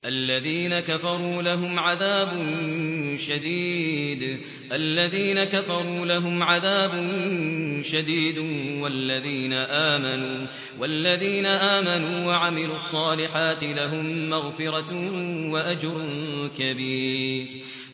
الَّذِينَ كَفَرُوا لَهُمْ عَذَابٌ شَدِيدٌ ۖ وَالَّذِينَ آمَنُوا وَعَمِلُوا الصَّالِحَاتِ لَهُم مَّغْفِرَةٌ وَأَجْرٌ كَبِيرٌ